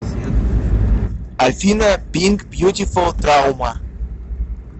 афина пинк бьютифул траума